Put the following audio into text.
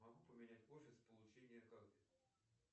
могу поменять офис получения карты